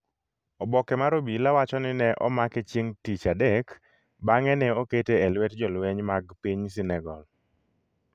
Oboke mar obila wacho ni ne omake chieng' tij adek bang’e ne okete e lwet jolweny mag piny Senegal.